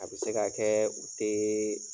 A bɛ se ka kɛ u tɛ